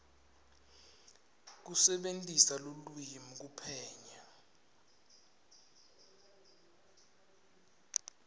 kusebentisa lulwimi kuphenya